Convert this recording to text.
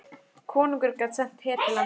Konungur gat sent her til landsins.